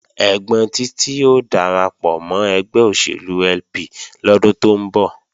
Ẹ́gbọ́n Títí ó darapọ̀ mọ́ ẹgbẹ́ òṣèlú LP lọ́dún tó ń bọ̀